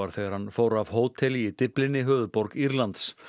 þegar hann fór af hóteli í Dyflinni höfuðborg Írlands